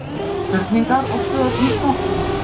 Spurningar og svör um smokkinn.